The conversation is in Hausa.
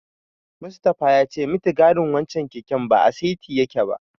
Mustapha ya ce mitigarin wancen keken ba a saiti yake ba.